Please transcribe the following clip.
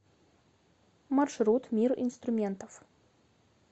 маршрут мир инструментов